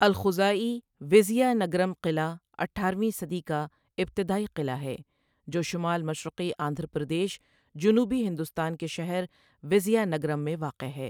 الخزاعی ویزیانگرم قلعہ اٹھارہ ویں صدی کا ابتدائی قلعہ ہے جو شمال مشرقی آندھرا پردیش، جنوبی ہندوستان کے شہر ویزیانگرم میں واقع ہے۔